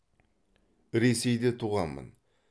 ресейде туғанмын